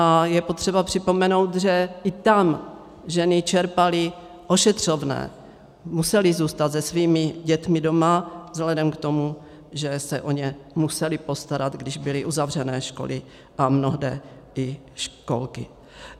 A je potřeba připomenout, že i tam ženy čerpaly ošetřovné, musely zůstat se svými dětmi doma vzhledem k tomu, že se o ně musely postarat, když byly uzavřené školy a mnohde i školky.